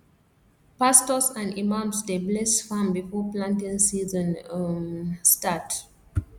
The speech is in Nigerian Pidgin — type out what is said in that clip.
pastors and imams dey bless farm before planting season um start